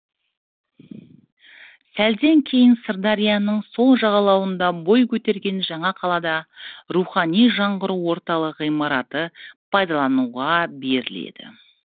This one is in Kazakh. сәлден кейін сырдарияның сол жағалауында бой көтерген жаңа қалада рухани жаңғыру орталығы ғимараты пайдалануға беріледі